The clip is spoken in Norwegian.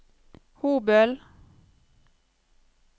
Hobøl